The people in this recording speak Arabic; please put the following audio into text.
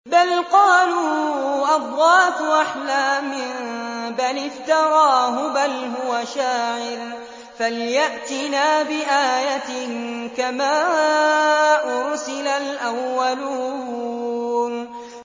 بَلْ قَالُوا أَضْغَاثُ أَحْلَامٍ بَلِ افْتَرَاهُ بَلْ هُوَ شَاعِرٌ فَلْيَأْتِنَا بِآيَةٍ كَمَا أُرْسِلَ الْأَوَّلُونَ